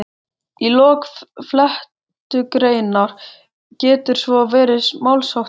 Í lok flettugreinar getur svo verið málsháttur